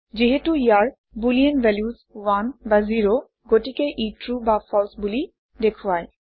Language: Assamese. যিহেতু ইয়াৰ বুলিন ভেলিউচ 1 বা 0 গতিকে ই ট্ৰু বা ফালছে বুলি দেখুৱায়